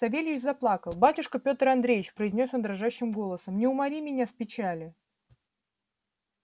савельич заплакал батюшка пётр андреич произнёс он дрожащим голосом не умори меня с печали